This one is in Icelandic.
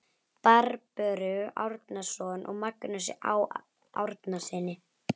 Barböru Árnason og Magnúsi Á. Árnasyni.